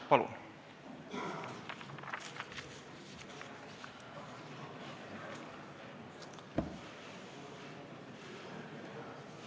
Palun!